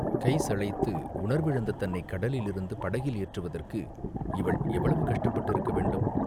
கை சளைத்து உணர்விழந்த தன்னைக் கடலிலிருந்து படகில் ஏற்றுவதற்கு இவள் எவ்வளவு கஷ்டப்பட்டிருக்க வேண்டும்?